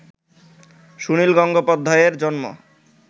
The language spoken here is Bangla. সুনীল গঙ্গোপাধ্যায়ের জন্ম